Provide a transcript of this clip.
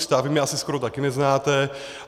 Vy mě asi skoro taky neznáte.